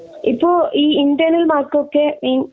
ഇപ്പൊ ഇ internal mark ഒക്കെ മി